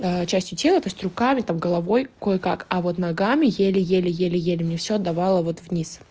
а частью тела то есть руками там головой кое-как а вот ногами еле-еле еле-еле мне все отдавала вот вниз